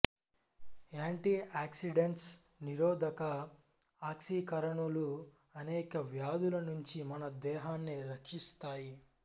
anti oxidants నిరోధక ఆక్సీకరణులు అనేక వ్యాధుల నుంచి మన దేహాన్ని రక్షిస్తాయి